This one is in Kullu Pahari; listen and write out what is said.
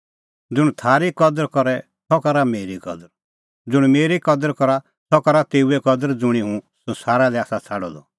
ज़ुंण थारी कदर करे सह करा मेरी कदर ज़ुंण मेरी कदर करा सह करा तेऊए कदर ज़ुंणी हुंह संसारा लै आसा छ़ाडअ द